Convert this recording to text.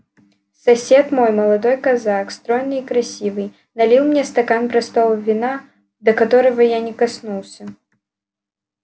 сосед мой молодой казак стройный и красивый налил мне стакан простого вина до которого я не коснулся